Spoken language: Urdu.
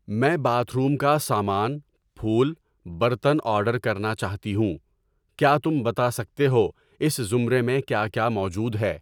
میں باتھ روم کا سامان, پھول, برتن آرڈر کرنا چاہتی ہوں، کیا تم بتا سکتے ہو اس زمرے میں کیا کیا موجود ہے؟